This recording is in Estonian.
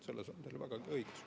Selles on teil vägagi õigus.